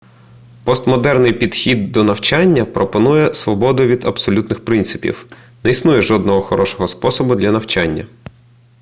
постмодерний підхід до навчання пропонує свободу від абсолютних принципів не існує жодного хорошого способу для навчання